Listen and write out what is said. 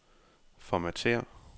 Formatér.